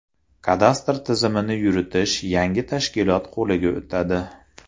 Kadastr tizimini yuritish yangi tashkilot qo‘liga o‘tadi.